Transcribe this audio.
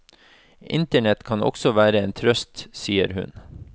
Internett kan også være en trøst, sier hun.